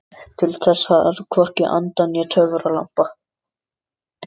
Ég doka við í vorkuldanum og kasta mæðinni.